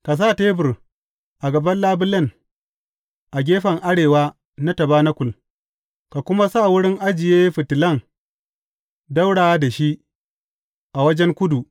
Ka sa tebur a gaba labulen, a gefen arewa na tabanakul, ka kuma sa wurin ajiye fitilan ɗaura da shi, a wajen kudu.